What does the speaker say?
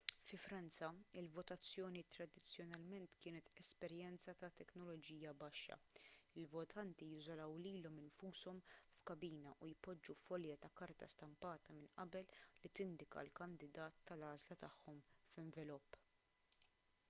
fi franza il-votazzjoni tradizzjonalment kienet esperjenza ta' teknoloġija baxxa il-votanti jiżolaw lilhom infushom f'kabina u jpoġġu folja ta' karta stampata minn qabel li tindika l-kandidat tal-għażla tagħhom f'envelop